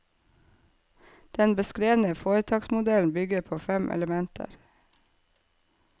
Den beskrevne foretaksmodellen bygger på fem elementer.